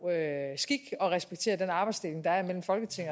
skik at respektere den arbejdsdeling der er mellem folketing